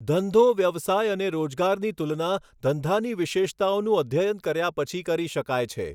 ધંધો વ્યવસાય અને રોજગારની તુલના ધંધાની વિશેષતાઓનું અધ્યયન કર્યા પછી કરી શકાય છે.